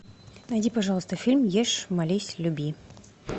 найди пожалуйста фильм ешь молись люби